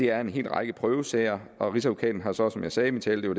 er en hel række prøvesager og rigsadvokaten har så som jeg sagde i min tale det